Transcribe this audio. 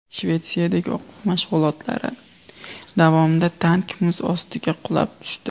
Shvetsiyadagi o‘quv mashg‘ulotlari davomida tank muz ostiga qulab tushdi.